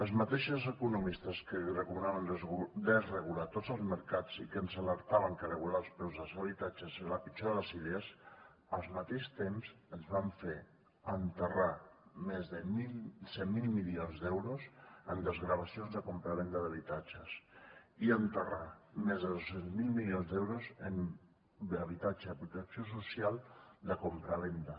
els mateixos economistes que recomanaven desregular tots els mercats i que ens alertaven que regular els preus dels habitatges era la pitjor de les idees al mateix temps ens van fer enterrar més de cent miler milions d’euros en desgravacions de compravenda d’habitatges i enterrar més de dos cents miler milions d’euros en habitatge de protecció social de compravenda